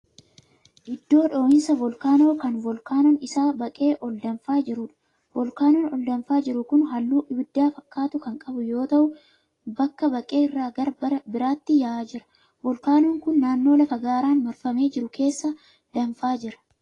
Iddoo dho'insa volkaanoo kan volkaanoon isaa baqee ol danfaa jiruudha. Volkaanoon ol danfaa jiru kun halluu ibidda fakkaatu kan qabu yoo ta'u, bakka baqe irraa gara biraatti ya'aa jira. Volkaanoon kun naannoo lafa gaaraan marfamee jiru keessaa danfaa jira.